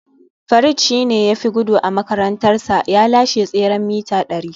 Farid shi ne ya fi gudu a makarantarsa, ya lashe tseren mita dari